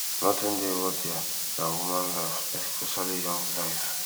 noti dey worthier dan human life specifically young life